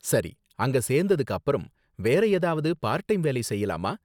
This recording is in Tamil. சரி, அங்க சேர்ந்ததுக்கு அப்பறம், வேற ஏதாவது பார்ட் டைம் வேலை செய்யலாமா?